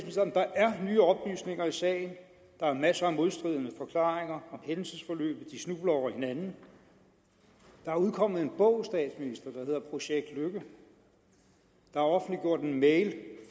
nye oplysninger i sagen der er masser af modstridende forklaringer om hændelsesforløbet og de snubler over hinanden der er udkommet en bog der hedder projekt løkke der er offentliggjort en mail